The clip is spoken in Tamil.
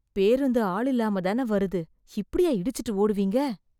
பேருந்து ஆளில்லாம தான வருது, இப்படியா இடிச்சுட்டு ஓடுவீங்க.